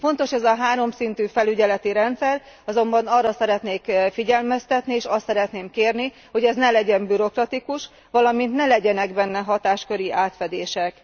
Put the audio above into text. Fontos ez a háromszintű felügyeleti rendszer, azonban arra szeretnék figyelmeztetni, és azt szeretném kérni, hogy ez ne legyen bürokratikus, valamint ne legyenek benne hatásköri átfedések.